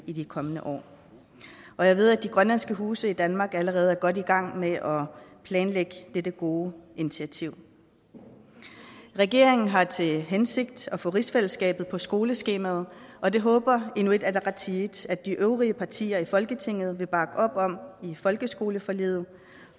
i de kommende år og jeg ved at de grønlandske huse i danmark allerede er godt i gang med at planlægge dette gode initiativ regeringen har til hensigt at få rigsfællesskabet på skoleskemaet og det håber inuit ataqatigiit at de øvrige partier i folketinget vil bakke op om i folkeskoleforliget